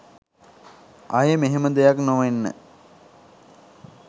ආයෙ මෙහෙම දෙයක් නොවෙන්න